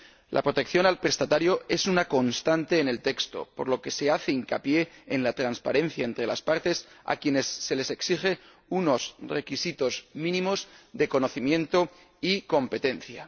La protección al prestatario es una constante en el texto, por lo que se hace hincapié en la transparencia entre las partes, a quienes se les exige unos requisitos mínimos de conocimiento y competencia.